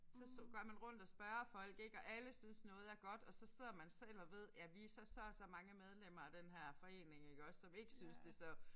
Så så går man rundt og spørger folk ik og alle synes noget er godt og så sidder man selv og ved ja vi så så og så mange medlemmer af denne her forening iggås som ikke synes det så